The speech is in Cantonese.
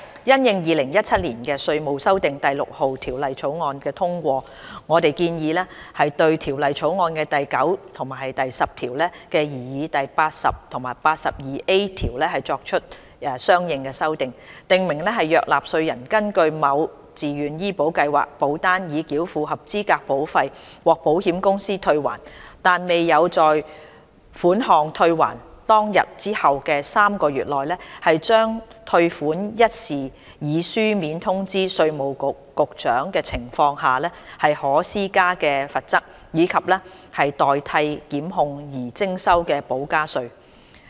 因應《2017年稅務條例草案》通過，我們建議對《條例草案》的第9及10條的擬議第80及 82A 條，作出相應修訂，訂明若納稅人根據某自願醫保計劃保單已繳付合資格保費，獲保險公司退還，但未有在款項退還當天後的3個月內，將退款一事以書面通知稅務局局長的情況下，可施加的罰則，以及代替檢控而徵收的補加稅。